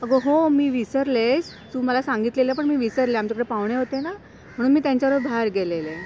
अगं हो मी विसरले, तू मला सांगितलेलं पण मी विसरले, आमच्याकडे पाहुणे होते ना, म्हणून मी त्यांच्याबरोबर बाहेर गेलेले.